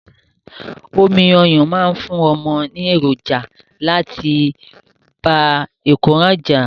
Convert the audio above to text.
Omi ọyán máa fún ọmọ ní èròǹjà láti bá ìkóràn jà.